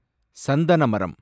சந்தன மரம்